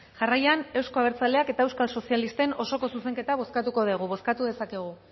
jarraian euzko abertzaleak eta euskal sozialisten osoko zuzenketa bozkatuko dugu bozkatu dezakegu